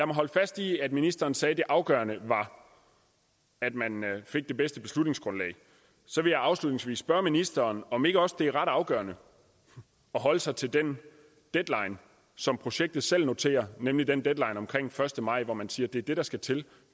mig holde fast i at ministeren sagde at det afgørende var at man fik det bedste beslutningsgrundlag så vil jeg afslutningsvis spørge ministeren om ikke også det er ret afgørende at holde sig til den deadline som projektet selv noterer nemlig den første maj man siger at det er det der skal til